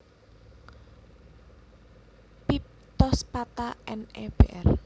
Piptospatha N E Br